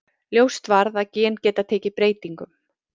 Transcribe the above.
Ljóst varð að gen geta tekið breytingum.